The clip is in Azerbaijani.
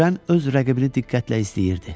Kürən öz rəqibini diqqətlə izləyirdi.